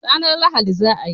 Ranan Lahadi za a yi